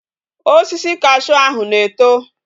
Osisi cashew ahu na eto